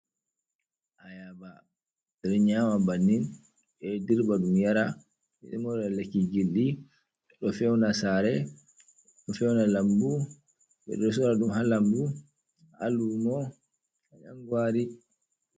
Ayaba ɓe ɗo nyaama bannin, ɓe ɗo dirba ɗum yara, ɓe ɗon mora lakki gilɗi. Ɗo feewna saare, ɗo feewna lammbu, ɓe ɗo soora ɗum ha lammbu, ha luumo ɗangwaari.